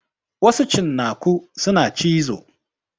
Wasu cinnaku suna cizo.